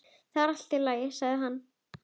Það er allt, sagði hann.